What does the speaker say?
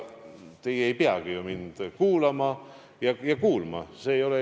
Ega teie ei peagi ju mind kuulama ja kuulma.